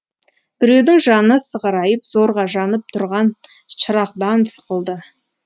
біреудің жаны сығырайып зорға жанып тұрған шырағдан сықылды